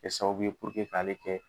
Kɛ sababu ye k'ale tɛ